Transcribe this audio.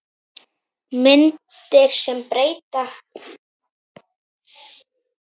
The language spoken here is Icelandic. Myndir sem breyta